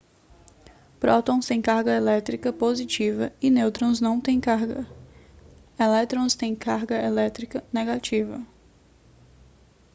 prótons têm carga elétrica positiva e nêutrons não têm carga elétrons têm carga elétrica negativa